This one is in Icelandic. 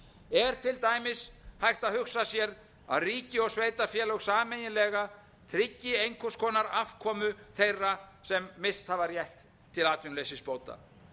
er til dæmis hægt að hugsa sér að ríki og sveitarfélög sameiginlega tryggi einhvers konar afkomu þeirra sem rétt til atvinnuleysisbóta